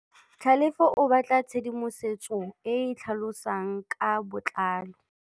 Tlhalefô o batla tshedimosetsô e e tlhalosang ka botlalô.